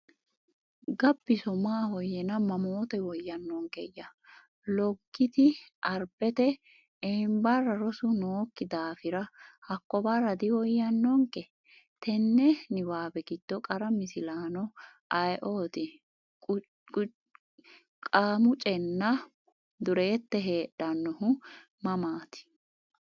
Gabbiso Maahoyyena mammoote woyyaannonkeyya? Loggiti Arbete, Eembarra rosu nookki daafira hakko barra diwoyyannonke? Tenne niwaawe giddo qara misilaano ayeooti? Qamucenna Dureette heedhannohu mamaati?